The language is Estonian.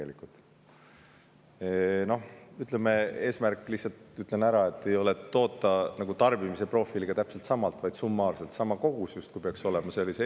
Lihtsalt ütlen ära, et eesmärk ei ole toota tarbimise profiiliga täpselt sama palju, vaid summaarselt peaks see olema sama kogus.